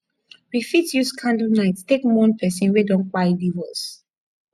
we fit use candle night take mourn person wey don kpai leave us